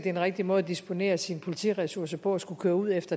en rigtig måde at disponere sine politiressourcer på at skulle køre ud